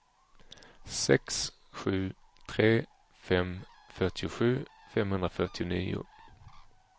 sex sju tre fem fyrtiosju femhundrafyrtionio